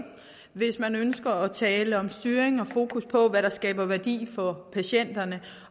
hvis man ønsker at tale om styring og fokus på hvad der skaber værdi for patienterne